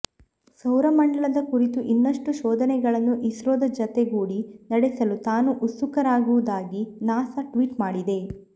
ಸೌರಮಂಡಲದ ಕುರಿತು ಇನ್ನಷ್ಟು ಶೋಧನೆಗಳನ್ನು ಇಸ್ರೋದ ಜತೆಗೂಡಿ ನಡೆಸಲು ತಾನು ಉತ್ಸುಕವಾಗಿರುವುದಾಗಿ ನಾಸಾ ಟ್ವೀಟ್ ಮಾಡಿದೆ